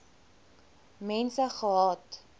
mense gehad